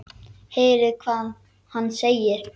Heyrið hvað hann segir.